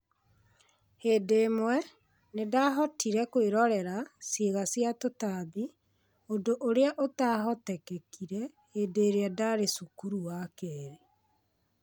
Hĩndĩ ĩmwe, nĩ ndaahotire kwĩrorera ciĩga cia tũtambi, ũndũ ũrĩa ũtahotekekire hĩndĩ ĩrĩa ndaarĩ cukuru wa keerĩ.